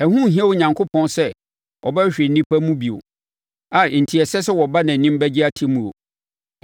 Ɛho nhia Onyankopɔn sɛ ɔbɛhwehwɛ nnipa mu bio, a enti ɛsɛ sɛ wɔba nʼanim bɛgye atemmuo.